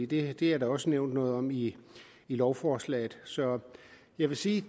det er der også nævnt noget om i lovforslaget så jeg vil sige